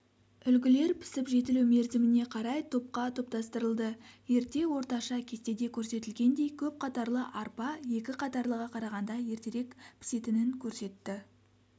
үлгілер пісіп-жетілу мерзіміне қарай топқа топтастырылды ерте орташа кестеде көрсетілгендей көп қатарлы арпа екі қатарлыға қарағанда ертерек пісетінін көрсетті